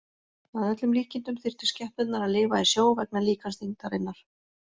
Að öllum líkindum þyrftu skepnurnar að lifa í sjó vegna líkamsþyngdarinnar.